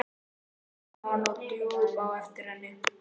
útskýrði hann og hljóp á eftir henni.